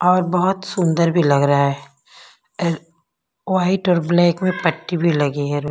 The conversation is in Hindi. और बहुत सुंदर भी लग रहा है अह व्हाइट और ब्लैक में पट्टी भी लगी है।